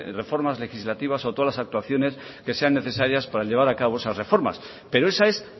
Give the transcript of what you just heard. reformas legislativas o todas las actuaciones que sean necesarias para llevar a cabo esas reformas pero esa es